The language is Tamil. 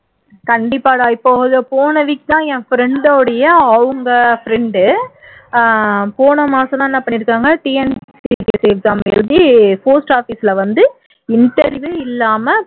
கண்டிப்பாடா இப்போ ஒரு போன week தான் என் friend டோட அவங்க friend அஹ் போன மாசம் தான் பண்ணி இருக்காங்க TNPSC exam எழுதி post office ல வந்து interview இல்லாம